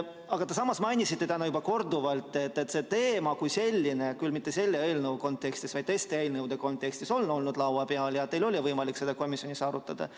Samas mainisite täna korduvalt, et see teema, küll mitte selle eelnõu kontekstis, vaid teiste eelnõude kontekstis, on laua peal olnud ja teil on olnud võimalik seda komisjonis arutada.